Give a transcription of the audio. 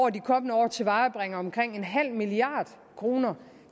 af de kommende år tilvejebringer omkring en halv milliard kroner